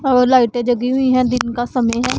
और लाइटें जगी हुई हैं दिन का समय है।